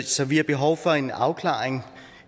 så vi har behov for en afklaring